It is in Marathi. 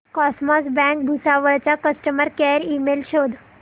कॉसमॉस बँक भुसावळ चा कस्टमर केअर ईमेल शोध